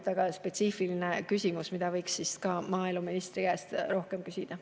Väga spetsiifiline küsimus, mida võiks ka maaeluministri käest küsida.